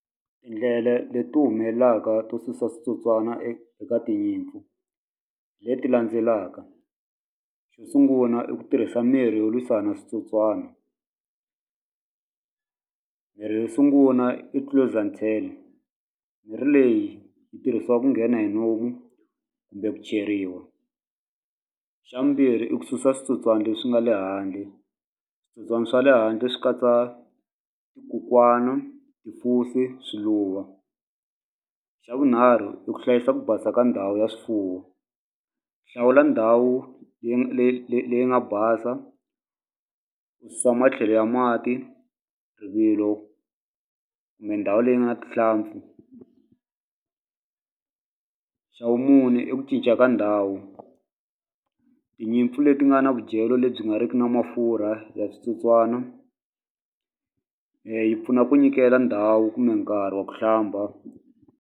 Tindlela leti humelelaka to susa switsotswana eka tinyimpfu hi leti landzelaka xo sungula i ku tirhisa mirhi yo lwisana switsotswana mirhi yo sungula i mirhi leyi yi tirhisiwa ku nghena hi kumbe ku ceriwa xa vumbirhi i ku susa switsotswani leswi nga le handle switsotswani swa le handle swi katsa swiluva xa vunharhu i ku hlayisa ku basa ka ndhawu ya swifuwo hlawula ndhawu leyi leyi leyi nga basa u susa matlhelo ya mati rivilo kumbe ndhawu leyi nga na rihlampfu xa vumune i ku cinca ka ndhawu tinyimpfu leti nga na vudyelo lebyi nga riki na mafurha ya switsotswana yi pfuna ku nyikela ndhawu kumbe nkarhi wa ku hlamba.